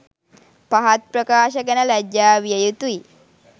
පහත් ප්‍රකාශ ගැන ලජ්ජා විය යුතුයි.